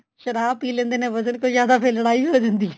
ਸ਼ਰਾਬ ਪੀ ਲੈਂਦੇ ਨੇ ਵਜਣ ਤੋ ਜਿਆਦਾ ਫੇਰ ਲੜਾਈ ਹੋ ਜਾਂਦੀ ਏ